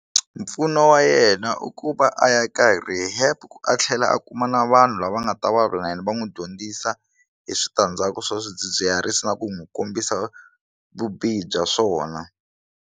Mpfuno wa yena i ku va a ya ka rehab a tlhela a kuma na vanhu lava nga ta vulavula na yena va n'wi dyondzisa hi switandzhaku swa swidzidziharisi na ku n'wi kombisa vubihi bya swona.